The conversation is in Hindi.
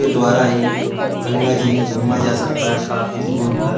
द्वारा ही गंगा जी में घूमा जा सकता है काफी दूर तक।